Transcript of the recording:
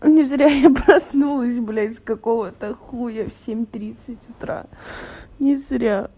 не зря я проснулась блядь с какого-то хуя в семь тридцать утра не зря